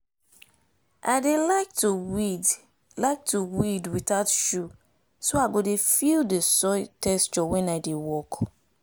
i dey like to weed like to weed without shoe so i go dey feel the soil texture wen i dey work.